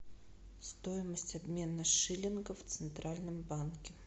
стоимость обмена шиллинга в центральном банке